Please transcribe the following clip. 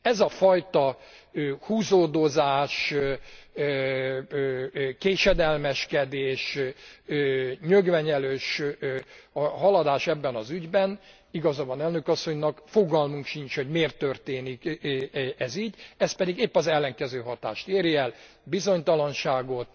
Ez a fajta húzódozás, késedelmeskedés, nyögvenyelős haladás ebben az ügyben igaza van Elnök Asszonynak fogalmunk sincs, hogy miért történik ez így, ez pedig épp az ellenkező hatást éri el, bizonytalanságot,